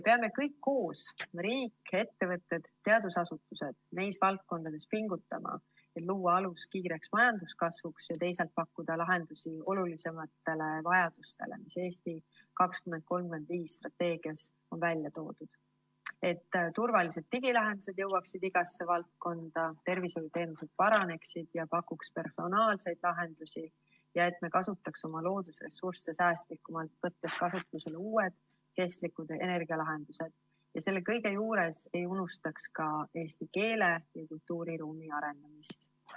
Peame kõik koos – riik, ettevõtted ja teadusasutused – neis valdkondades pingutama, et luua alus kiireks majanduskasvuks ja teisalt pakkuda lahendusi olulisematele arenguvajadustele, mis "Eesti 2035" strateegias välja on toodud, et turvalised digilahendused jõuaks igasse valdkonda, tervishoiuteenused paraneks ja pakuks personaalseid lahendusi ja me kasutaks oma loodusressursse säästlikumalt, võttes kasutusele uued kestlikud energialahendused, ning selle kõige juures ei unustaks ka eesti keele ja kultuuriruumi arendamist.